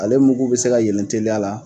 Ale mugu bɛ se yeelen teliya la